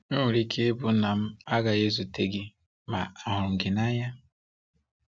O nwere ike ịbụ na m agaghị ezute gị, ma ahurum gị na anya.